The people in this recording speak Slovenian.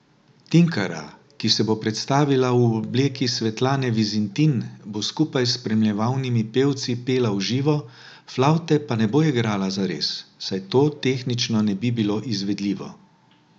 Tinkara, ki se bo predstavila v obleki Svetlane Vizintin, bo skupaj s spremljevalnimi pevci pela v živo, flavte pa ne bo igrala zares, saj to tehnično ne bi bilo izvedljivo.